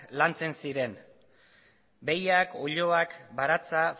lantzen ziren behiak oiloak baratza